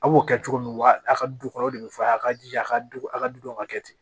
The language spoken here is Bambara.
A b'o kɛ cogo min wa a ka du kɔnɔ o de bɛ f'a ye a ka jija a ka du a ka duw ka kɛ ten